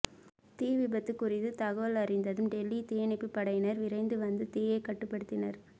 தீவிபத்து குறித்து தகவல் அறிந்ததும் டெல்லி தீயணைப்பு படையினர் விரைந்து வந்து தீயை கட்டுப்பட்டுத்தினர்